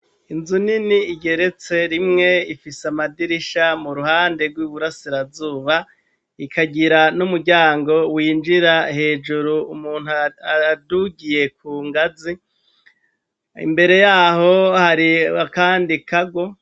Inzu nini igeretse rimwe ifise amadirisha mu ruhande rw'iburasirazuba ikagira n'umuryango winjira hejuru umuntu adugiye ku ngazi imbere yaho hari akandi kago.